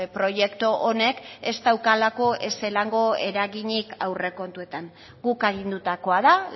proiektu honek ez daukalako ezelango eraginik aurrekontuetan guk agindutakoa da